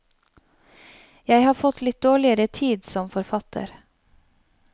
Jeg har fått litt dårligere tid som forfatter.